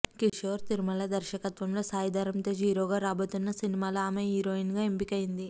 కిషోర్ తిరుమల దర్శకత్వంలో సాయిధరమ్ తేజ్ హీరోగా రాబోతున్న సినిమాలో ఆమె హీరోయిన్ గా ఎంపికైంది